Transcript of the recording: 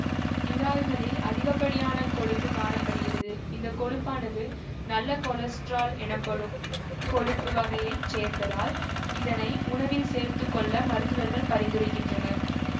இறால்களில் அதிகப்படியான கொழுப்பு காண படுகிறது இந்த கொழுப்பானது நல்ல கொலஸ்டிரால் எனப்படும் கொழுப்பு வகையை சேர்ந்ததால் இதனை உணவில் சேர்த்து கொள்ள மருத்துவர்கள் பரிந்துரைக்கின்றனர்